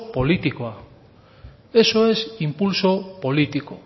politikoa eso es impulso político